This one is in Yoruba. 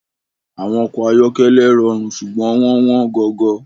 Awon oko ayokele rorun sugbon won won gogo